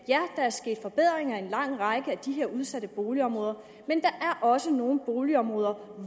der er sket forbedringer i en lang række af de her udsatte boligområder men der er også nogle boligområder